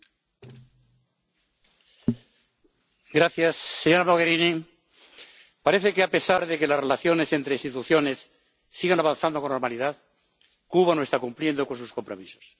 Señor presidente, señora Mogherini, parece que, a pesar de que las relaciones entre instituciones sigan avanzando con normalidad, Cuba no está cumpliendo con sus compromisos.